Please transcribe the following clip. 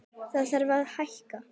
Þá þarf að hækka.